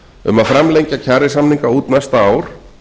um að framlengja kjarasamninga út næsta ár